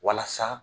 Walasa